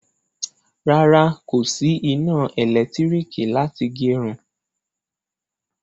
Rárá, kò sí iná elekitiriki láti gerun